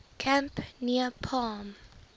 camp near palm